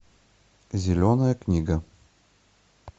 зеленая книга